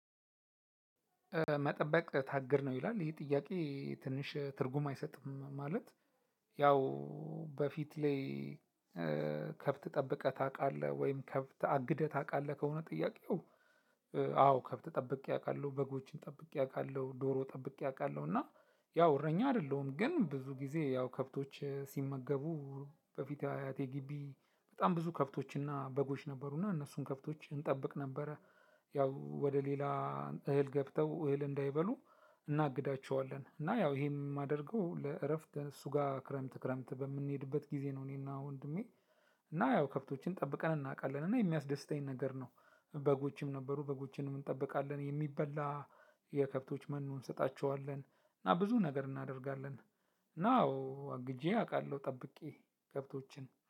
በመጠበቅ ታግድ ነው ይላል ይሄ ጥያቄ ትንሽ ትርጉም አይሰጥም። ማለት ያው በፊት ላይ ከብት ጠብቀህ ታውቃለህ ወይም ከብት አግደህ ታውቃለህ? ከሆነ ጥያቄው? አዎ ከብት ጠብቄ አውቃለሁ በጎችን ጠብቄ አውቃለሁ ዶሮ ጠብቄ አውቃለሁ እና ያው እረኛ አይደለሁም። ግን ብዙ ጊዜ ያው ከብቶች ሲመገቡ በፊት አያቴ ግቢ በጣም ብዙ ከብቶችና በጎች ነበሩና እነሱን ከብቶች እንጠብቅ ነበረ። ያው ወደ ሌላ እህል ገብተው እህል እንዳይበሉ እናግዳቸዋለን። እና ያው ይሄም የማደርገው ለእረፍት እሱ ጋር ክረምት ክረምት በምንሄድበት ጊዜ ነው። እኔና ወንድሜ እና ያው ከብቶችን ጠብቀን እናውቃለን እና የሚያስደስተኝ ነገር ነው። በጎችም ነበሩ በጎችንም እንጠብቃለን የሚበላ የከብቶች መኖ እንሰጣቸዋለን እና ብዙ ነገር እናደርጋለን። እና አዎ አግጄ አውቃለሁ ጠብቄ ከብቶችን